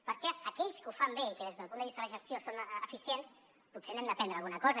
perquè d’aquells que ho fan bé i que des del punt de vista de gestió són eficients potser n’hem d’aprendre alguna cosa